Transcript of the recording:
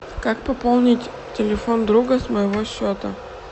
как пополнить телефон друга с моего счета